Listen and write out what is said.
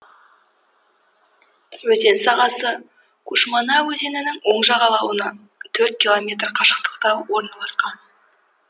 өзен сағасы кушмана өзенінің оң жағалауынан төрт километр қашықтықта орналасқан